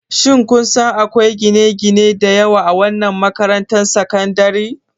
Shin kun san akwai gine-gine da yawa a wannan makarantar sakandare?